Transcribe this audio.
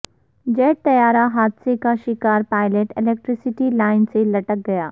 jet طیارہ حادثہ کا شکار پائلٹ الیکٹریسٹی لائن سے لٹک گیا